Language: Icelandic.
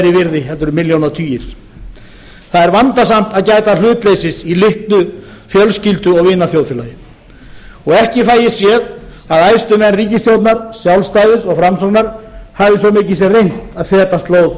virði en milljónatugir það er vandasamt að gæta hlutleysis í litlu fjölskyldu og vinaþjóðfélagi og ekki fæ ég séð að æðstu menn ríkisstjórnar sjálfstæðis og framsóknar hafi svo mikið sem reynt að feta slóð